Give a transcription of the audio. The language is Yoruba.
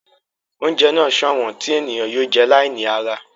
Oúnjẹ náà sọ̀wọ́n tí ènìyàn yóò jẹ́ láì ní ara